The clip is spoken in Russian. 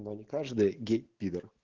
но не каждый гей пидор